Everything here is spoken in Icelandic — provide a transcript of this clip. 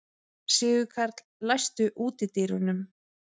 Sigurkarl, læstu útidyrunum.